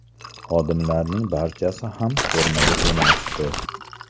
Xodimlarning barchasi ham formada emasdi.